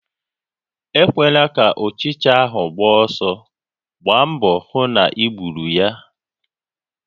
Ekwela ka ụchịcha ahụ gbaa ọsọ, gbaa mbọ hụ na I gbùrù ya!